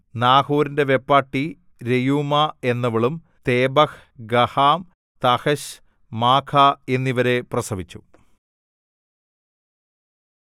നാഹോരിന്റെ വെപ്പാട്ടി രെയൂമാ എന്നവളും Tebah Gaham Tahash Maacah എന്നിവരെ പ്രസവിച്ചു